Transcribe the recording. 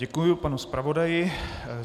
Děkuji panu zpravodaji.